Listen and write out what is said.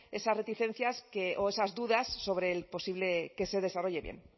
esas reticencias que o esas dudas sobre el posible que se desarrolle bien